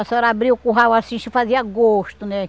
A senhora abria o curral, assiste fazia gosto, né?